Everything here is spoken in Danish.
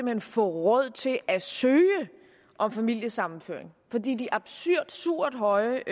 hen få råd til at søge om familiesammenføring fordi de absurd høje